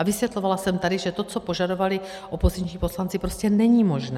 A vysvětlovala jsem tady, že to, co požadovali opoziční poslanci, prostě není možné.